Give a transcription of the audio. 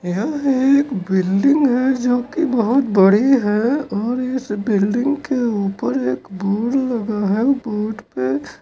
यह एक बिल्डिंग है जो की बहोत बड़ी है और इस बिल्डिंग के ऊपर एक बोर्ड लगा है बोर्ड पे--